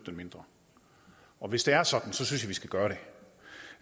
det mindre og hvis det er sådan synes jeg vi skal gøre det